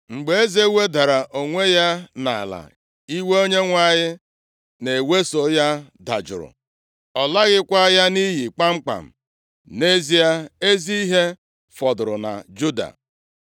Mgbe eze wedara onwe ya nʼala, iwe Onyenwe anyị na-eweso ya dajụrụ, Ọ laghịkwa ya nʼiyi kpamkpam. Nʼezie, ezi ihe fọdụkwara na Juda.